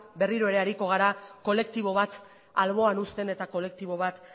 berriro ere ariko gara kolektibo bat alboan uzten eta kolektibo bat